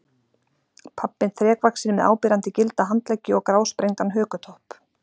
Pabbinn þrekvaxinn með áberandi gilda handleggi og grásprengdan hökutopp.